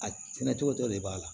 A kɛnɛ cogo tɔ de b'a la